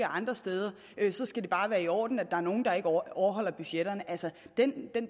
andre steder så skal det bare være i orden at der er nogle der ikke overholder budgetterne